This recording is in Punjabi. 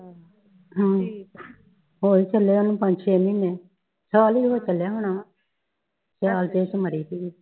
ਹੋ ਚਲਿਆ ਹੈ ਓਨੁ ਪੰਝ ਛੈ ਮਹੀਨੇ ਸਾਲ ਹੀ ਹੋ ਚਲਿਆ ਹੁਣ ਸਾਲ ਪਿੱਛੇ ਮਰੀ ਸੀਗੀ